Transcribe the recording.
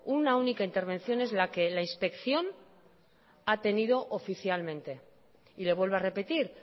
una única intervención es la que la inspección ha tenido oficialmente y le vuelvo a repetir